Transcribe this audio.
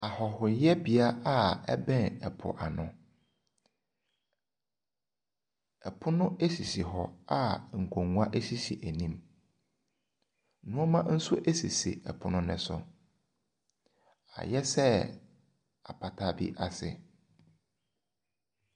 Ahɔhoyɛbea a ɛbɛn ɛpoano. Ɛpono esisi hɔ a nkonnwa esisi anim. Nneema nso esisi ɛpono no so. Ayɛsɛ apata bi ase.